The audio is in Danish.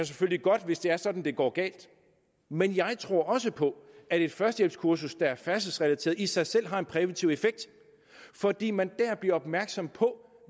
selvfølgelig godt hvis det er sådan at det går galt men jeg tror også på at et førstehjælpskursus der er færdselsrelateret i sig selv har en præventiv effekt fordi man dér bliver opmærksom på